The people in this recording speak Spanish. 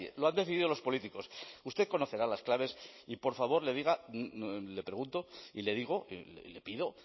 lo han decidido los políticos usted conocerá las claves y por favor le pregunto y le digo le pido